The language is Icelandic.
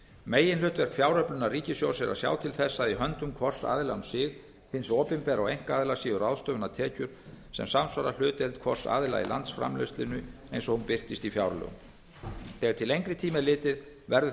meginhlutverk fjáröflunar ríkissjóðs er að sjá til þess að í höndum hvors aðila um sig hins opinbera og einkaaðila séu ráðstöfunartekjur sem samsvara hlutdeild hvors aðila í landsframleiðslunni eins og hún birtist í fjárlögum þegar til lengri tíma er litið verður